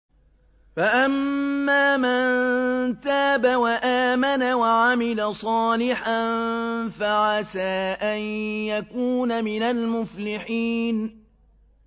فَأَمَّا مَن تَابَ وَآمَنَ وَعَمِلَ صَالِحًا فَعَسَىٰ أَن يَكُونَ مِنَ الْمُفْلِحِينَ